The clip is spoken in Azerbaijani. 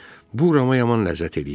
Bu Rama yaman ləzzət eləyirdi.